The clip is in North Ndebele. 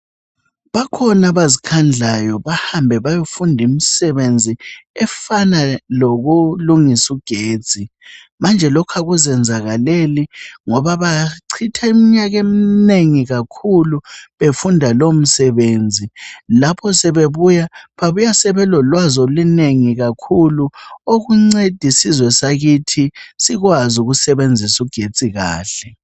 bakhona abazikhandlayo bahambe beyofunda imsebenzi efana lokulungisa u getsi manje lokhu akuzenzakaleleli ngoba bachitha iminyaka eminengi kakhulu befunda lowu msebenzi lapho sebebuya babuya sebelolwazi olunengi kakhulu okunceda isizwe sakithi sikwazi ukusebenzisa ugetsi kahle